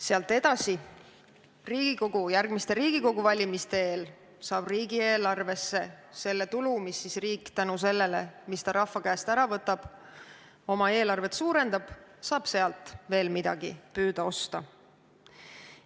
Sealt edasi, järgmiste Riigikogu valimiste eel jõuab riigieelarvesse see tulu, mille riik rahva käest ära võtab, et oma eelarvet suurendada ja selle eest veel midagi püüda osta.